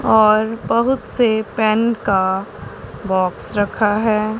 और बहुत से पेन का बॉक्स रखा है।